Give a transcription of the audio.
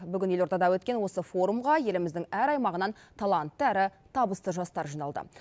бүгін елордада өткен форумға еліміздің әр аймағынан талантты әрі табысты жастар жиналды